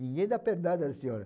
Ninguém dá pernada a senhora.